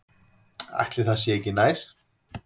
Ætli það sé ekki nær.